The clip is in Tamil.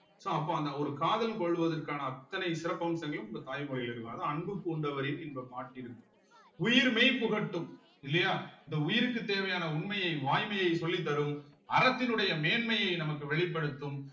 so அப்ப அந்த ஒரு காதல் கொள்வதற்கான அத்தனை சிறப்பம்சங்களும் உங்க தாய்மொழியில இருக்கும் அதான் அன்பு பூண்டவரின் இன்பப் பாட்டிருக்கு உயிர்மெய் புகட்டும் இல்லையா இந்த உயிருக்கு தேவையான உண்மையை வாய்மையை சொல்லித்தரும் அரசினுடைய மேன்மையை நமக்கு வெளிப்படுத்தும்